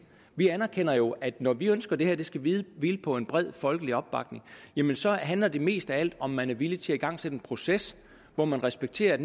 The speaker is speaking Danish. vi anerkender jo at når vi ønsker at det her skal hvile på en bred folkelig opbakning så handler det mest af alt om at man er villig til at igangsætte en proces hvor man respekterer at